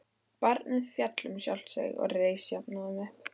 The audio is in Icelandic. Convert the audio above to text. Barnið féll um sjálft sig en reis jafnóðum upp.